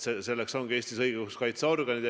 Selleks ongi Eestis õiguskaitseorganid.